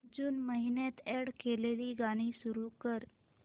जून महिन्यात अॅड केलेली गाणी सुरू कर